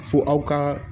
Fo aw ka